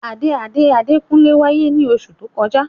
Ade ade Adekunle waye ni osu to koja.